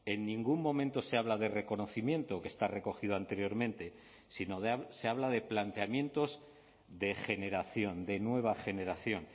en ningún momento se habla de reconocimiento que está recogido anteriormente sino se habla de planteamientos de generación de nueva generación